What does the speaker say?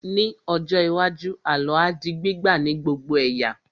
Ní ọjọ́ iwájú, àlọ́ á di gbígbà ní gbogbo ẹ̀yà